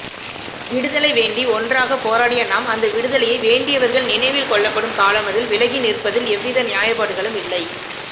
விடுதலை வேண்டி ஒன்றாக போராடியநாம் அந்த விடுதலையை வேண்டியவர்கள் நினைவில் கொள்ளப்படும் காலமதில் விலகிநிற்பதில் எவ்வித நியாயப்பாடுகளும் இல்லை